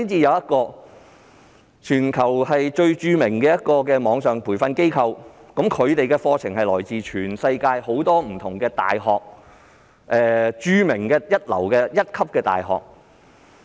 有一間全球著名的網上培訓機構，其培訓課程均來自全球多間一流大學。